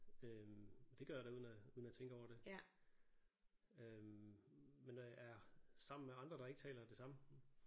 Øh og det gør jeg da uden at uden at tænke over det øh men når jeg er sammen med andre der ikke taler det samme